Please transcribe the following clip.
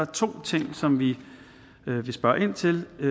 to ting som vi vil spørge ind til i